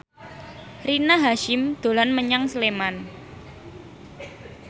Rina Hasyim dolan menyang Sleman